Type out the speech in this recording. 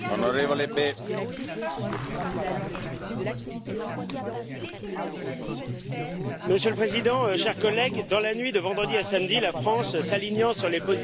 Monsieur le Président, chers collègues, dans la nuit de vendredi à samedi, la France, s'alignant sur les positions bellicistes américaines et britanniques, a effectué une série de frappes sur le territoire syrien.